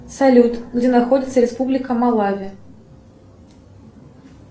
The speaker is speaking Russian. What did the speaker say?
салют где находится республика малави